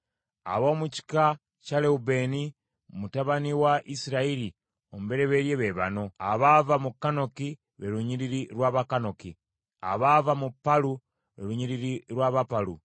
Ab’omu kika kya Lewubeeni, mutabani wa Isirayiri omubereberye, be bano: abaava mu Kanoki, lwe lunyiriri lw’Abakanoki; abaava mu Palu, lwe lunyiriri lw’Abapalu;